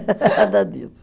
Nada disso.